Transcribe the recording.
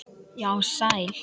Já, sæl.